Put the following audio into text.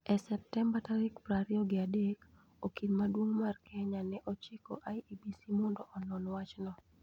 E Septemba tarik prariyo gi adek, okil maduong ' mar Kenya ne ochiko IEBC mondo onon wachno.